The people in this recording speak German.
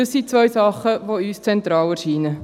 Dies sind zwei Dinge, die uns zentral erscheinen.